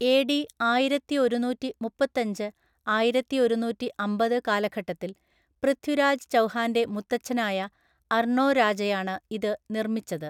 ഏ ഡി ആയിരത്തി ഒരുന്നൂറ്റി മുപ്പത്തഞ്ച് ആയിരത്തി ഒരുന്നൂറ്റി അമ്പത് കാലഘട്ടത്തിൽ പൃഥ്വിരാജ് ചൗഹാൻ്റെ മുത്തച്ഛനായ അർണോ രാജയാണ് ഇത് നിർമ്മിച്ചത്.